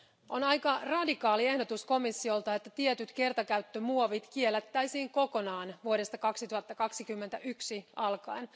On aika radikaali ehdotus komissiolta, että tietyt kertakäyttömuovit kiellettäisiin kokonaan vuodesta 2021 alkaen.